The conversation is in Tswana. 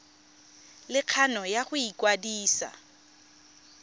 le kgano ya go ikwadisa